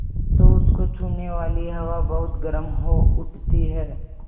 तो उसको छूने वाली हवा बहुत गर्म हो उठती है